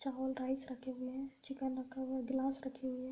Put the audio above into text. चावल राइस रखे हुए हैं चिकन रखा हुआ है ग्लास रखे हुए हैं।